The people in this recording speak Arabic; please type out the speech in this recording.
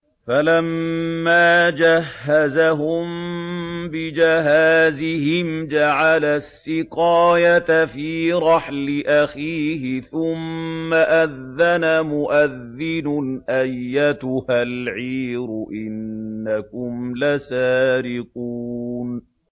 فَلَمَّا جَهَّزَهُم بِجَهَازِهِمْ جَعَلَ السِّقَايَةَ فِي رَحْلِ أَخِيهِ ثُمَّ أَذَّنَ مُؤَذِّنٌ أَيَّتُهَا الْعِيرُ إِنَّكُمْ لَسَارِقُونَ